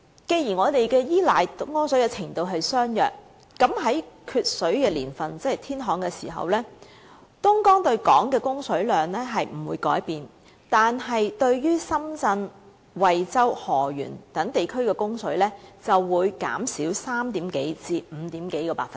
雖然對東江水的依賴程度相若，但在缺水的年份即天旱時，東江對港供水量不會改變，但對深圳、惠州、河源等地的供水量，則會減少超過3個至超過5個百分點。